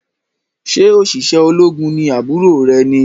Ṣe oṣiṣẹ ológun ní àbúrò rẹ ni?